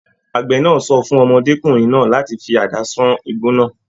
Àgbẹ náà sọ fún ọmọdékunrin náà láti fí àdá sàn igbó náà.